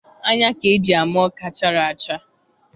Anya ka eji ama ọka chara acha.